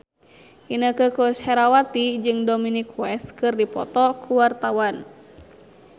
Inneke Koesherawati jeung Dominic West keur dipoto ku wartawan